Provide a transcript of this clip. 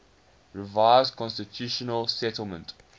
revised constitutional settlement